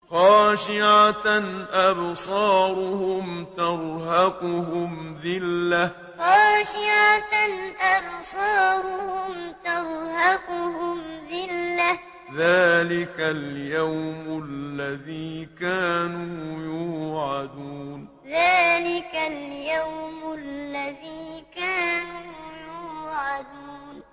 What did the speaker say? خَاشِعَةً أَبْصَارُهُمْ تَرْهَقُهُمْ ذِلَّةٌ ۚ ذَٰلِكَ الْيَوْمُ الَّذِي كَانُوا يُوعَدُونَ خَاشِعَةً أَبْصَارُهُمْ تَرْهَقُهُمْ ذِلَّةٌ ۚ ذَٰلِكَ الْيَوْمُ الَّذِي كَانُوا يُوعَدُونَ